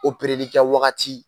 kɛ wagati